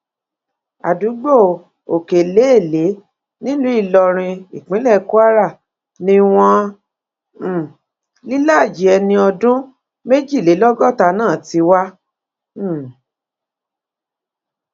àdúgbò òkèléèlé nílùú ìlọrin ìpínlẹ kwara ni wọn um líláàajì ẹni ọdún méjìlélọgọta náà ti wá um